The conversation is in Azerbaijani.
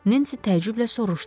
Nensi təəccüblə soruşdu.